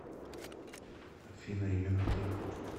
афина именно так